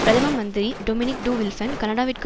பிரதம மந்திரி Dominique de Villepin கனடாவிற்கு